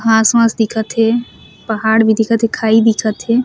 घाँस वाश दिखत हे पहाड़ भी दिखत हे खाई दिखत हे।